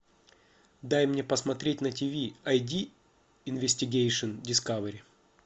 дай мне посмотреть на тв айди инвестигейшн дискавери